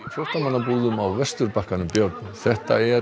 flóttamannabúðum á Vesturbakkanum björn þetta er